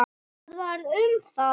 Hvað varð um þá?